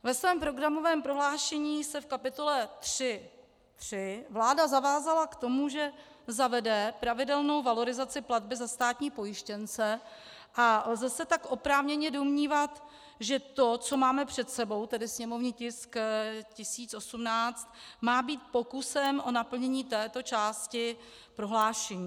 Ve svém programovém prohlášení se v kapitole 3.3 vláda zavázala k tomu, že zavede pravidelnou valorizaci platby za státní pojištěnce, a lze se tak oprávněně domnívat, že to, co máme před sebou, tedy sněmovní tisk 1018, má být pokusem o naplnění této části prohlášení.